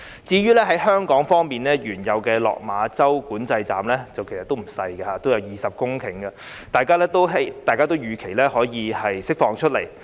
至於香港方面，原有的落馬洲管制站其實面積也不小，佔地20公頃，大家預期可以釋放出來。